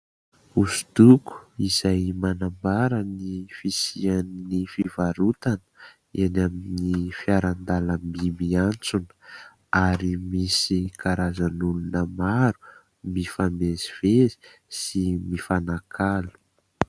Hosodoko izay manambara ny fisian'ny fivarotana eny amin'ny fiarandalamby miantsona ary misy karazan'olona maro mifamezivezy sy mifanakalo.